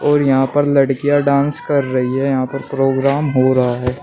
यहां पर लड़कियां डांस कर रही हैं यहां पर प्रोग्राम हो रहा है।